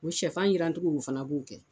U sɛfan jirancogo de fana b'o kɛ